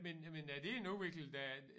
Men men er det en udvikling der